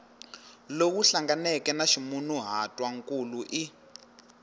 lowu hlanganeke na ximunhuhatwankulu i